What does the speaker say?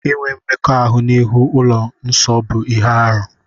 Inwe mmekọahụ n'ihu ụlọ nsọ bụ ihe arụ.